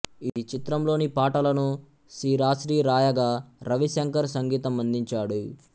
ఈ చిత్రంలోని పాటలను సిరాశ్రీ రాయగా రవి శంకర్ సంగీతం అందించాడు